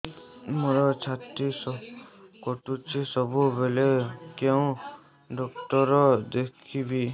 ମୋର ଛାତି କଟୁଛି ସବୁବେଳେ କୋଉ ଡକ୍ଟର ଦେଖେବି